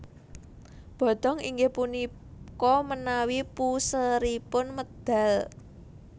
Bodong inggih punika menawi puseripun medal